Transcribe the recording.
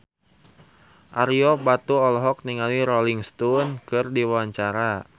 Ario Batu olohok ningali Rolling Stone keur diwawancara